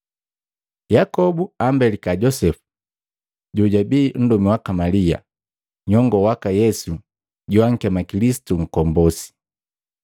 Yakobu ambelika Josepu, jojabii nndomi waka Malia, nyongoo waka Yesu joakema Kilisitu Nkombosi.